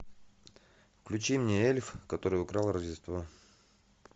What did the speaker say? включи мне эльф который украл рождество